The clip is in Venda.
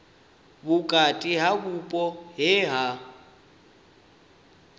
vhukati ha vhupo he ha